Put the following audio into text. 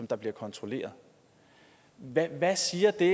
der bliver kontrolleret hvad hvad siger det